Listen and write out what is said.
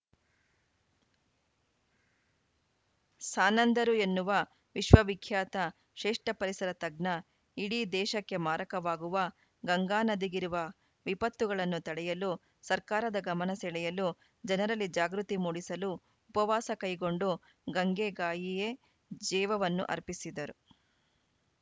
ಸಾನಂದರೂ ಎನ್ನುವ ವಿಶ್ವವಿಖ್ಯಾತ ಶ್ರೇಷ್ಟಪರಿಸರ ತಜ್ಞ ಇಡೀ ದೇಶಕ್ಕೆ ಮಾರಕವಾಗವ ಗಂಗಾನದಿಗಿರುವ ವಿಪತ್ತುಗ್ತಳನ್ನು ತಡೆಯಲು ಸರ್ಕಾರದ ಗಮನ ಸೆಳೆಯಲು ಜನರಲ್ಲಿ ಜಾಗೃತಿ ಮೂಡಿಸಲು ಉಪವಾಸ ಕೈಗೊಂಡು ಗಂಗೆ ಗಾಯಿಯೇ ಜೇವವನ್ನು ಅರ್ಪಿಸಿದರು